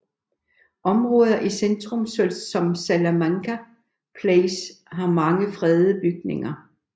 Områder i centrum som Salamanca Place har mange fredede bygninger